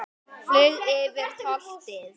Flaug yfir holtið.